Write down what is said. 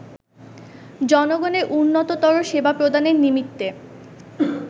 জনগণের উন্নততর সেবা প্রদানের নিমিত্তে